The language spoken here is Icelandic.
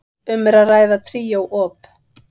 Um er að ræða tríó op.